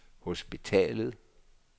hospitalet